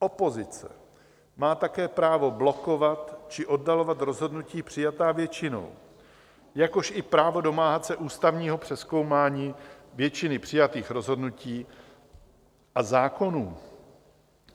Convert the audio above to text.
Opozice má také právo blokovat či oddalovat rozhodnutí přijatá většinou, jakož i právo domáhat se ústavního přezkoumání většiny přijatých rozhodnutí a zákonů.